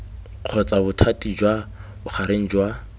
kgotsa bothati jwa bogareng jwa